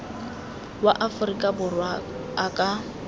wa aforika borwa a ka